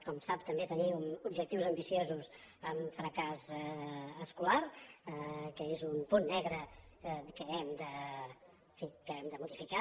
com sap també tenim objectius ambiciosos en fracàs escolar que es un punt negre que en fi hem de modificar